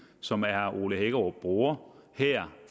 som herre ole hækkerup bruger her